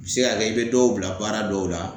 Se ga kɛ i be dɔw bila baara dɔw la